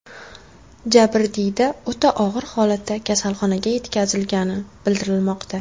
Jabrdiyda o‘ta og‘ir holatda kasalxonaga yetkazilgani bildirilmoqda.